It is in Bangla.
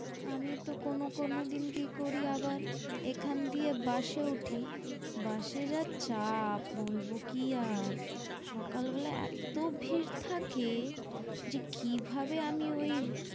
আমি তো কোনো কোনো দিন কি করি আবার এখান দিয়ে বাসে উঠি বাস এ যা চাপ বলবো কি আর সকালবেলা এত্ত ভিড় থাকে যে কিভাবে আমি ওই